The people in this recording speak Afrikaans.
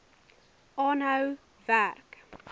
aanhou werk